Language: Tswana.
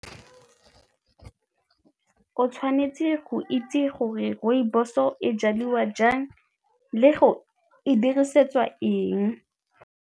O tshwanetse go itse gore rooibos-o e jaliwa jang le go e dirisetswa eng.